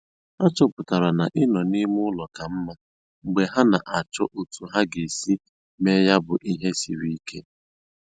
Ha chọpụtara na ịnọ n'ime ụlọ ka mma mgbe ha na - achọ otu ha ga - esi me ya bụ ihe siri ike